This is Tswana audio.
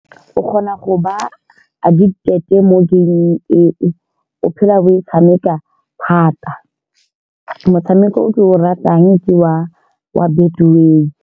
O kgona go ba addicted mo game-ng eo. O phela o e tshameka thata motshameko o ke o ratang ke wa-wa betway.